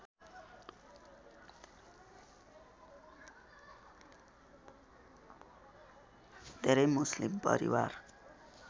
धेरै मुस्लिम परिवार